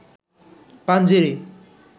Panjeree